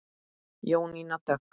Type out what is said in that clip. Jónína Dögg.